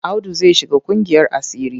Audu zai shiga ƙungiyar asiri.